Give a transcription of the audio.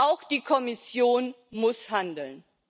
Auch die Kommission muss handeln.